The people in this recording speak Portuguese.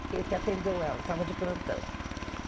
Ele que atendeu ela, estava de plantão.